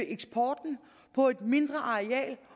eksporten på et mindre areal